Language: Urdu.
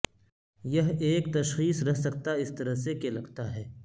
یہ ایک تشخیص رہ سکتا اس طرح سے کہ لگتا ہے